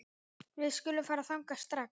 Við skulum fara þangað strax